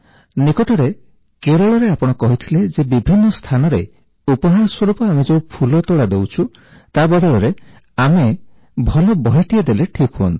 ନିକଟରେ କେରଳରେ ଆପଣ କହିଥିଲେ ଯେ ବିଭିନ୍ନ ସ୍ଥାନରେ ଉପହାର ସ୍ୱରୂପ ଆମେ ଯେଉଁ ଫୁଲତୋଡ଼ା ଦେଉଛୁ ତା ବଦଳରେ ଆମେ ଭଲ ବହିଟିଏ ଦେଲେ ଠିକ୍ ହୁଅନ୍ତା